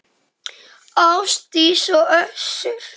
Ásdís og Össur.